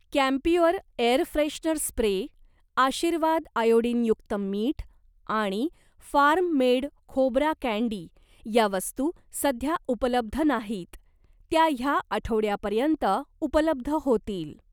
Camphure air freshener spray, Aashirvaad आयोडीनयुक्त मीठ आणि फार्म मेड खोबरा कँडी या वस्तू सध्या उपलब्ध नाहीत, त्या ह्या आठवड्यापर्यंत उपलब्ध होतील.